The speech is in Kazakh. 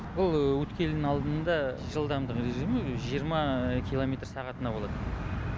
бұл өткелдің алдында жылдамдық режимі жиырма километр сағатына болады